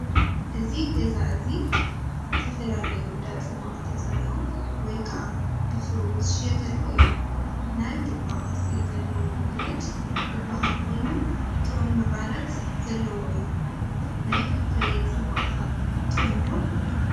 እዚ ገዛ እዙይ ዝተፈላለዩ እንዳ ፅማቅ ተፀሚቁ ወይ ከኣ ብፍርኡ ዝሽየጠሉ እዩ። ናይ ድባ ቅርፂ ዘለዎ ብርጭ ዝበሃል ኮይኑ ጡዑም ምቃረት ዘለዎ እዩ። ናይ ፓፓየ ፅሟቅ ከ ጥዑም ዶ ?